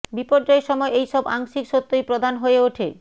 বিপর্যয়ের সময় এই সব আংশিক সত্যই প্রধান হয়ে ওঠে